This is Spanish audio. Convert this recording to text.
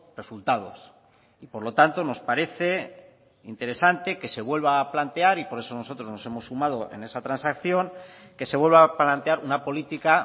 resultados y por lo tanto nos parece interesante que se vuelva a plantear y por eso nosotros nos hemos sumado en esa transacción que se vuelva a plantear una política